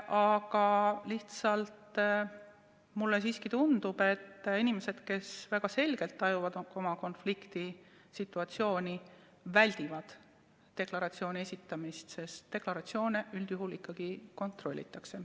Aga mulle siiski tundub, et inimesed, kes väga selgelt tajuvad oma konfliktisituatsiooni, väldivad deklaratsiooni esitamist, sest deklaratsioone üldjuhul ikkagi kontrollitakse.